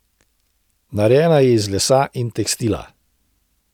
Narejena je iz lesa in tekstila.